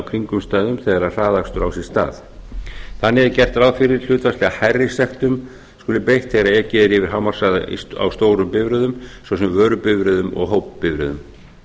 kringumstæðum þegar hraðakstur á sér stað þannig er gert ráð fyrir að hlutfallslega hærri sektum sé beitt þegar ekið er yfir hámarkshraða á stórum bifreiðum svo sem vörubifreiðum og hópbifreiðum